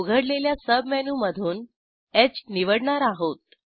उघडलेल्या सबमेनू मधून ह निवडणार आहोत